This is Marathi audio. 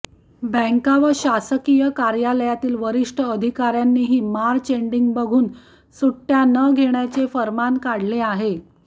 बँका व शासकीय कार्यालयातील वरिष्ठ अधिकार्यांनीही मार्च एंडिंग बघून सुट्ट्या न घेण्याचे फर्मान काढले आहे